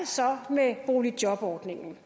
så med boligjobordningen